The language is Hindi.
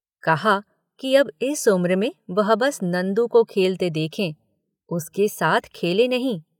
कहा कि अब इस उम्र में वह बस नंदू को खेलते देखें। उलके साथ खेलें नहीं।